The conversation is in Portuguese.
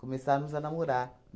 Começarmos a namorar.